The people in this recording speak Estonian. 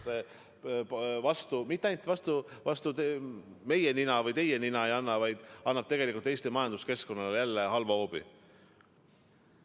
See ei löö mitte ainult vastu meie nina ja teie nina, vaid annab tegelikult Eesti majanduskeskkonnale väga tugeva hoobi.